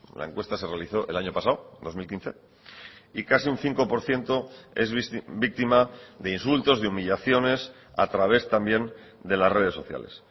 la encuesta se realizó el año pasado dos mil quince y casi un cinco por ciento es víctima de insultos de humillaciones a través también de las redes sociales